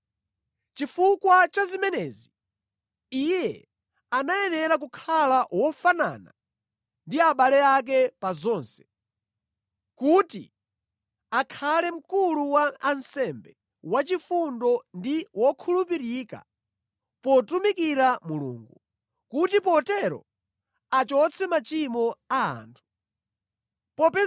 Chifukwa cha zimenezi, Iye anayenera kukhala wofanana ndi abale ake pa zonse, kuti akhale mkulu wa ansembe wachifundo ndi wokhulupirika potumikira Mulungu, kuti potero achotse machimo a anthu.